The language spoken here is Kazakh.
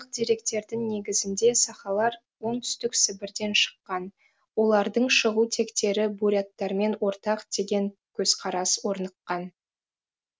деректердің негізінде сахалар оңтүстік сібірден шыққан олардың шығу тектері буряттармен ортақ деген көзқарас орныққан